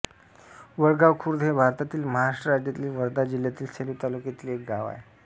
वडगाव खुर्द हे भारतातील महाराष्ट्र राज्यातील वर्धा जिल्ह्यातील सेलू तालुक्यातील एक गाव आहे